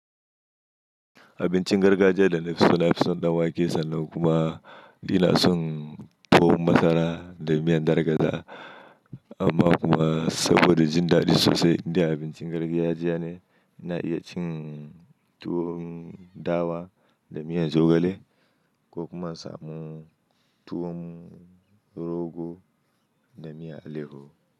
Abincin gargajiya da na fison ɗan wake sannan kuma ina son tuwon masara da miyan dar gaza. Amma kuma saboda jin daɗi sosai, inda abincin gargajiya ne, ina iya cin tuwon dawa da miyan zogale ko kuma samun tuwon rogo da miyan aleho.